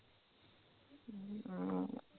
ਅਮ